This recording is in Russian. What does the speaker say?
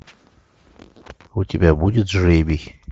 у тебя будет жребий